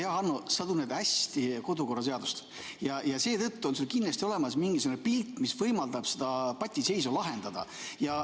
Hea Hanno, sa tunned hästi kodukorraseadust ja seetõttu on sul kindlasti olemas mingisugune pilt, mis võimaldab seda patiseisu lahendada.